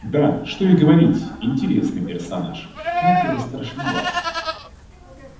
да что и говорить интересный персонаж хотя и страшноват